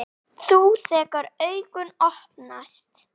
Þú, þegar augu opnast.